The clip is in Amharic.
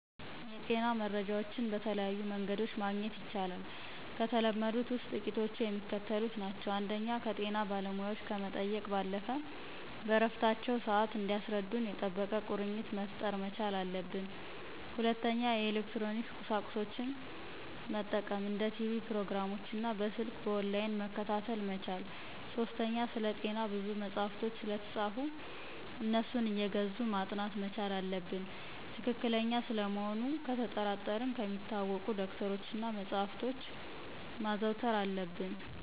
የጤና መረጃዎችን በተለያዩ መንገዶችመግኘት ይቻላል። ከተለመዱት ውስጥ ጥቂቶቹ የሚከተሉት ናቸው። ፩) ከጤና ባለሙያዎች ከመጠየቅ ባለፈ በእረፍታቸው ስዓት እንዲያስረዱን የጠበቀ ቁርኝትነት መፍጠር መቻል አለብን። ፪) የኤሌክትሮኒክስ ቁሳቁሶችን መጠቀም እንደ ቲቭ ፕሮግራሞችን እና በሰልክ በኦንላይን መከታተል መቻል። ፫) ስለጤና ብዙ መጸሐፎች ስለተፃፉ አነሱን አየገዙ ማጥናት መቻል አለብን። ትክክለኛ ስለመሆኑ ነተጠራጠረን ከሚታወቁ ዶክተሮች እና መጸሐፍቶችን ማዘውተር አለብን።